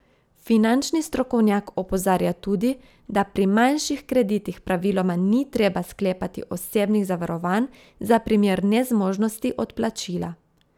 Finančni strokovnjak opozarja tudi, da pri manjših kreditih praviloma ni treba sklepati osebnih zavarovanj za primer nezmožnosti odplačila.